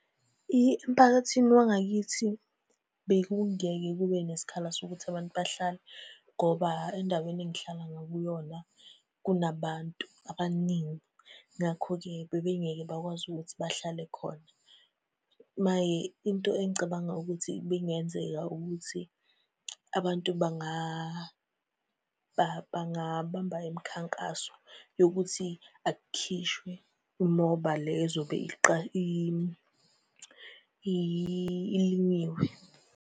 Emphakathini wangakithi, bekungeke kube nesikhala sokuthi abantu bahlale ngoba endaweni engihlala ngakuyona, kunabantu abaningi, ngakho-ke bebengeke bakwazi ukuthi bahlale khona. Maye into engicabanga ukuthi ibingenzeka ukuthi abantu bangabamba imikhankaso yokuthi akukhishwe imoba le ezobe ilinyiwe.